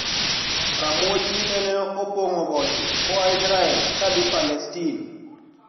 Ramuochi nene opong`o boche koa Israel kadhi Palestin